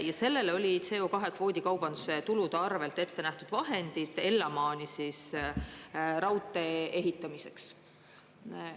Ja sellele oli CO2 kvoodikaubanduse tulude arvelt ette nähtud vahendid Ellamaani raudtee ehitamiseks.